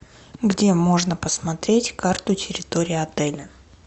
где можно посмотреть карту территории отеля